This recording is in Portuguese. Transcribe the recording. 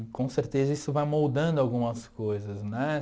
E com certeza isso vai moldando algumas coisas, né?